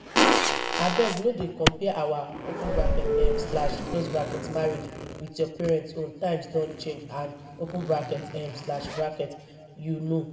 abeg no dey compare our open bracket um slash close bracket marriage with your parents own times don change and open bracket um slash close bracket you know